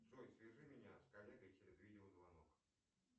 джой свяжи меня с коллегой через видеозвонок